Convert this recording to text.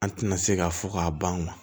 An tɛna se ka fɔ ka ban